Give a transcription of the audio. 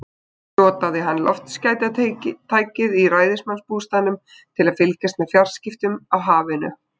Notaði hann loftskeytatækið í ræðismannsbústaðnum til að fylgjast með fjarskiptum á hafinu?